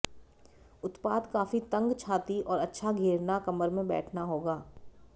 उत्पाद काफी तंग छाती और अच्छा घेरना कमर में बैठना होगा